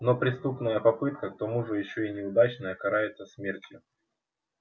но преступная попытка к тому же ещё и неудачная карается смертью